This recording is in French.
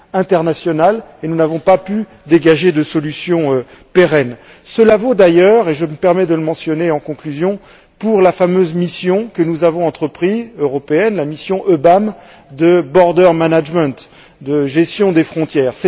internationale, et nous n'avons pas pu dégager de solution pérenne. Cela vaut d'ailleurs, et je me permets de le mentionner en conclusion, pour la fameuse mission européenne que nous avons entreprise, la mission EUBAM, de border management de gestion des frontières.